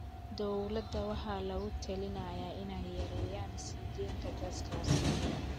Dowladaha waxaa lagula talinayaa inay yareeyaan sii daynta gaaska wasakheeya.